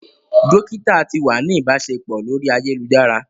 Dokita ti wa ni ibaṣepọ lori ayelujara.